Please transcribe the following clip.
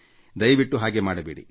ದಯವಿಟ್ಟು ಹಾಗೆ ಮಾಡಬೇಡಿ